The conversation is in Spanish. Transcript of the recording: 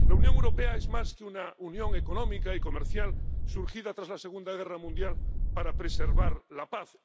La Unión Europea es más que una unión económica y comercial surgida tras la Segunda Guerra Mundial para preservar la paz.